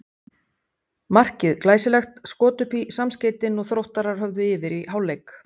Markið glæsilegt, skot upp í samskeytin og Þróttarar höfðu yfir í hálfleik.